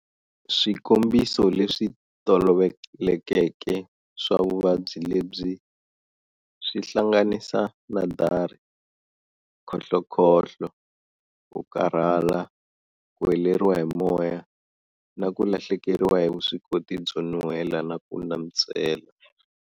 Swikombiso leswi tolovelekeke swa vuvabyi lebyi swi hlanganisa na dari, khohlokhohlo, kukarhala, ku heleriwa hi moya, na kulahlekeriwa hi vuswikoti byo nuhwela na ku nantswela.